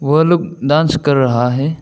वो लोग डांस कर रहा है।